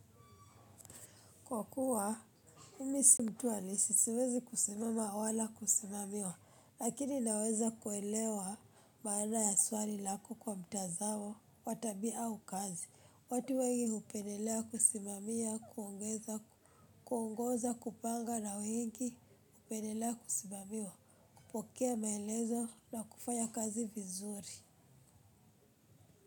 Kwa kuwa mimi si mtu halisi siwezi kusimama wala kusimamiwa lakini naweza kuelewa maana ya swali lako kwa mtazao watabia au kazi watu wengi upenelea kusimamia kuongeza kuongoza kupanga na wengi upendelea kusimamiwa kupokea maelezo na kufanya kazi vizuri.